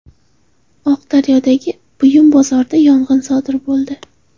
Oqdaryodagi buyum bozorida yong‘in sodir bo‘ldi.